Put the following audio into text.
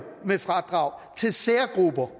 med fradrag til særgrupper